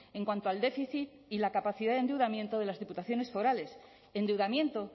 en cuanto al déficit y la capacidad de endeudamiento de las diputaciones forales endeudamiento